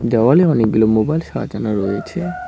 দেওয়ালে অনেকগুলো মোবাইল সাজানো রয়েছে।